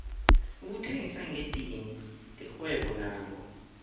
ukuthengisa ngedidini lirhwebo nakho